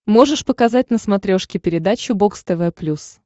можешь показать на смотрешке передачу бокс тв плюс